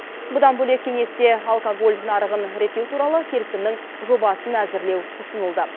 бұдан бөлек кеңесте алкоголь нарығын реттеу туралы келісімнің жобасын әзірлеу ұсынылды